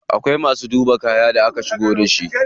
Akwai masu duba kayan da aka shigo da shi.